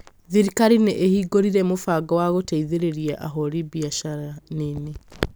Thirikari nĩ ĩhingũrire mũbango wa gũteithĩrĩria ahũri biacara nini